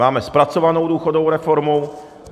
Máme zpracovanou důchodovou reformu.